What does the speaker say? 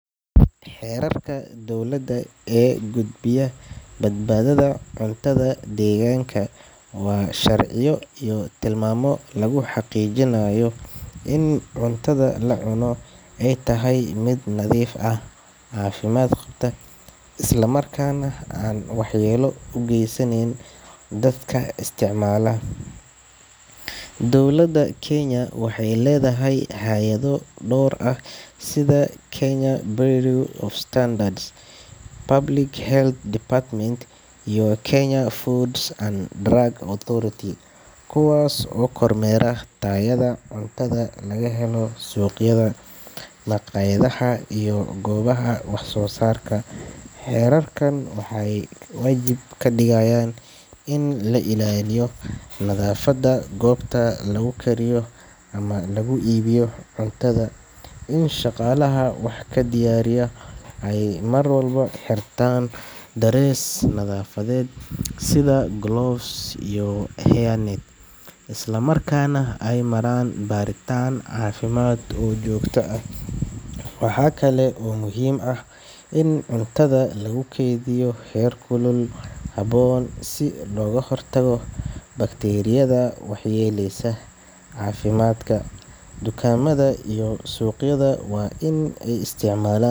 Xerarka dowladda ee kudbiyo badbada cunnada ee degaanka waxaa lagu saleeyaa sharciyo iyo tilmaamo adag oo lagu xaqiijinayo in cunnada la cuno ay tahay mid nadiif ah, caafimaad qabta, isla markaana aysan waxyeello u geysan dadka isticmaala. Dowladda Kenya waxay leedahay hay’ado dhowr ah oo mas’uul ka ah ilaalinta tayada cunnada, kuwaas oo ay ka mid yihiin: Kenya Bureau of Standards  Public Health Department Kenya Food and Drug Authority Hay’adahan waxay kormeeraan tayada cunnada laga helo suuqyada, maqaaxiyaha, iyo goobaha wax soo saarka cunnada si loo hubiyo in heerarka caafimaad iyo nadaafad la raaco. Waxyaabaha waajibka ka ah xerarrada cunnada waxaa ka mid ah: Ilaalinta nadaafadda guud ee goobta lagu kariyo ama lagu iibiyo cunnada. In shaqaalaha cunnada diyaariya ay mar walba xirtaan dhar nadaafadeed, sida gloves, hairnet, iyo dhar nadiif ah. Shaqaalaha waa in ay maraan baaritaanno caafimaad oo joogto ah. Cunnada waa in lagu keydiyaa heerkul ku habboon si looga hortago kororka bakteeriyada waxyeellada leh. Maqaaxiyaha iyo suuqyada waa in ay isticmaalaan .